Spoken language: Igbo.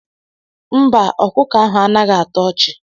Mba akụkọ ahụ anaghị atọ ọchị.